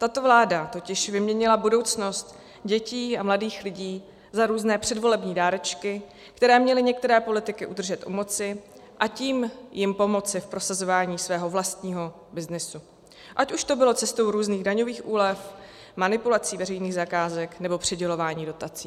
Tato vláda totiž vyměnila budoucnost dětí a mladých lidí za různé předvolební dárečky, které měly některé politiky udržet u moci, a tím jim pomoci v prosazování svého vlastního byznysu, ať už to bylo cestou různých daňových úlev, manipulací veřejných zakázek, nebo přidělování dotací.